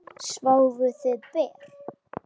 Sváfuð þið ber?